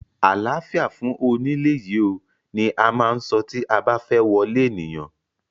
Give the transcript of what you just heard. Àláfíà fún onílé yìí oo! ni a má ń so tí a ba fẹ́ wọlé ènìyàn.